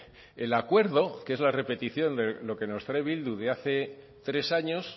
el acuerdo que es la repetición de lo que nos trae bildu de hace tres años